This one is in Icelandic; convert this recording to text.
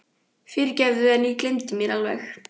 Fyrirgefðu, en ég gleymdi mér alveg.